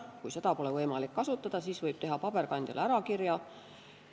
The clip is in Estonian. Kui seda pole võimalik kasutada, siis võib teha paberkandjal ärakirja.